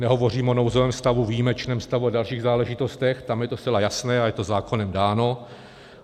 Nehovořím o nouzovém stavu, výjimečném stavu a dalších záležitostech, tam je to zcela jasné a je to zákonem dáno.